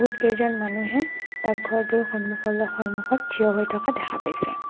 বহুতকেইজন মানুহে ডাকঘৰটোৰ থিয় হৈ থকা দেখা গৈছে।